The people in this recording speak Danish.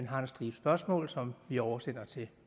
har en stribe spørgsmål som vi oversender til